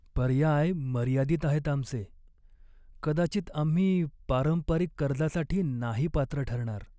पर्याय मर्यादित आहेत आमचे! कदाचित आम्ही पारंपरिक कर्जासाठी नाही पात्र ठरणार.